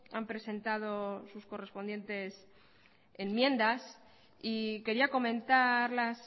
han presentado sus correspondientes enmiendas y quería comentarlas